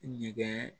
Ɲɛgɛn